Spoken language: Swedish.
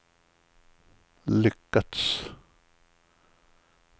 lyckats